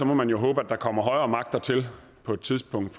må man håbe at der kommer højere magter til på et tidspunkt